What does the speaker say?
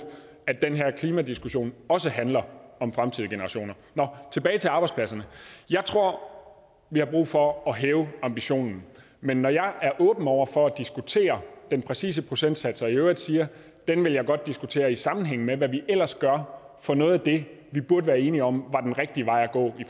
at den her klimadiskussion også handler om fremtidige generationer nå tilbage til arbejdspladserne jeg tror vi har brug for at hæve ambitionen men når jeg er åben over for at diskutere den præcise procentsats og i øvrigt siger at den vil jeg godt diskutere i sammenhæng med hvad vi ellers gør for noget af det vi burde være enige om var den rigtige vej at gå i